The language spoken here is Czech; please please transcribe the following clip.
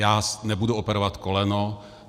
Já nebudu operovat koleno.